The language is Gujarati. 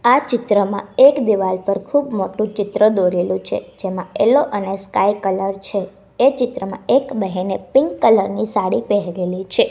આ ચિત્રમાં એક દીવાલ પર ખૂબ મોટુ ચિત્ર દોરેલું છે જેમાં યેલો અને સ્કાય કલર છે એ ચિત્રમાં એક બહેને પિંક કલર ની સાડી પહેરેલી છે.